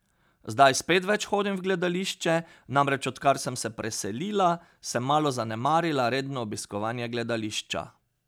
Zdaj spet več hodim v gledališče, namreč odkar sem se preselila, sem malo zanemarila redno obiskovanje gledališča.